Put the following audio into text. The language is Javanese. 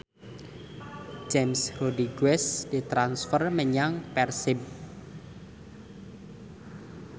James Rodriguez ditransfer menyang Persib